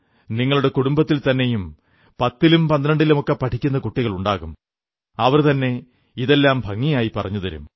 നിങ്ങളുടെ കുടുംബത്തിൽതന്നെയും 10ലും 12ലുമൊക്കെ പഠിക്കുന്ന കുട്ടികളുണ്ടാകും അവർതന്നെ ഇതെല്ലാം ഭംഗിയായി പറഞ്ഞുതരും